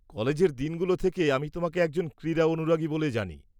কলেজের দিনগুলো থেকে আমি তোমাকে একজন ক্রীড়া অনুরাগী বলে জানি।